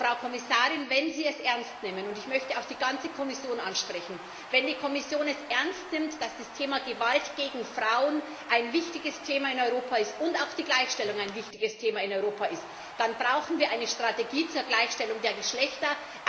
Frau Kommissarin, wenn Sie es ernst nehmen und ich möchte auch die ganze Kommission ansprechen wenn die Kommission es ernst nimmt, dass das Thema Gewalt gegen Frauen ein wichtiges Thema in Europa ist und auch die Gleichstellung ein wichtiges Thema in Europa ist, dann brauchen wir eine Strategie zur Gleichstellung der Geschlechter.